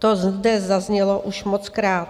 To zde zaznělo už mockrát.